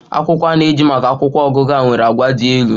Akwụkwọ a na-eji maka akwụkwọ ọgụgụ a nwere àgwà dị elu.